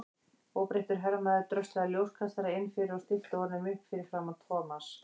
Óbreyttur hermaður dröslaði ljóskastara inn fyrir og stillti honum upp fyrir framan Thomas.